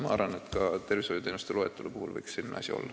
Ma arvan, et ka tervishoiuteenuste loetelu puhul võiks selline asi olla.